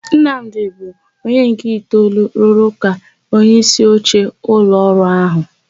Nnamdị bụ onye nke itoolu rụrụ ka onyeisioche ụlọọrụ áhụ̀.